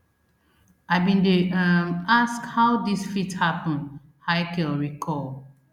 i bin dey um ask how dis fit happun haykel recall